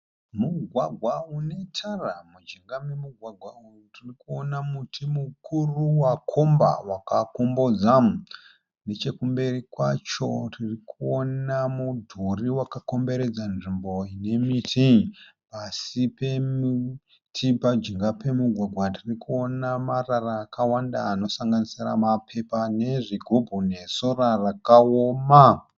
Mugwagwa unetara. Mujinga memugwagwa uyu tiri kuona muti mukuru wakomba wakakombodza. Nechekumberi kwacho tiri kuona mudhuri wakakomberedza nzvimbo ine miti. Pasi pemuti pajinga pemugwagwa tiri kuona marara akawanda anosanganisira mapepa nezvigubhu nesora rakaoma.